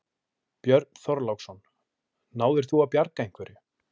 Björn Þorláksson: Náðir þú að bjarga einhverju?